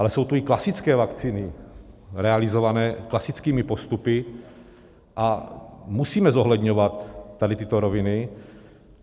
Ale jsou tu i klasické vakcíny realizované klasickými postupy a musíme zohledňovat tady tyto roviny.